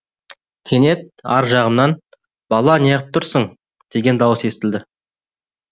кенет ар жағымнан бала неғып тұрсың деген дауыс естілді